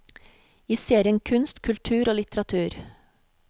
I serien kunst, kultur og litteratur.